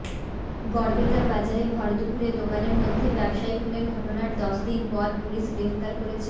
গড়বেতার বাজারে ভরদুপুরে দোকানের মধ্যে ব্যবসায়ী খুনের ঘটনার দশ দিন পর পুলিশ গ্রেফতার করেছে